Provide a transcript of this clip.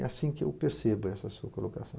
É assim que eu percebo essa sua colocação.